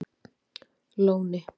Lóni